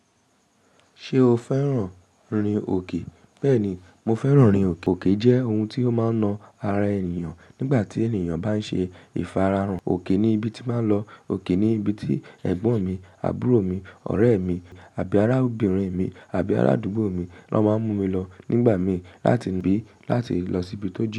Ṣé o fẹ́ràn rìn òkè? Bẹ́ẹ̀ ni, mo fẹ́ràn rìn òkè. Òkè jẹ́ ohun tí ó máa ń na ara ènìyàn nígbà tí ènìyàn bá ń ṣe ìfararun. Òkè ni ibi tí n màá lọ, òkè ni ibi tí ẹ̀gbọ́n mi, àbúrò mi, ọ̀rẹ́ mi àbí ará obìnrin mi àbí ará àdúgbò tan máa ń mú mi lọ nígbà mí láti bí láti lọ síbi tó jin.